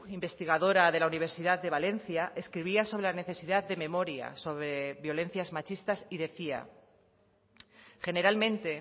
investigadora de la universidad de valencia escribía sobre la necesidad de memoria sobre violencias machistas y decía generalmente